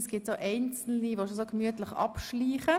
Es gibt Einzelne, die schon gemütlich davonschleichen.